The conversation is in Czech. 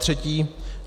Zatřetí.